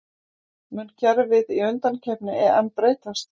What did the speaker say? Mun kerfið í undankeppni EM breytast?